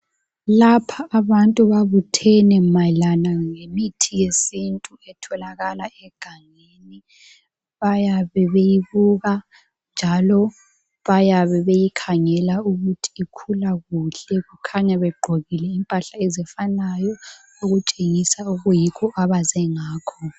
Lapha abantu babuthene mayelana ngemithi yesintu etholakala egangeni bayabe beyibuka njalo bayabe beyikhangela ukuthi ikhula kuhle kukhanya begqokile impahla ezifanayo okutshengisa okuyikho abaze ngakho.